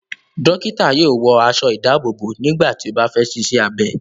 Dọ́kítá yóò wọ aṣọ-ìdáàbòbò nígbà tí ó bá fẹ́ ṣiṣẹ́ abẹ.